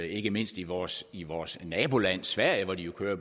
ikke mindst i vores i vores naboland sverige hvor de jo kører